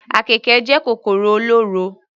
Àkekè jẹ́ kòkòrò olóró.